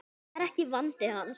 Það var ekki vandi hans.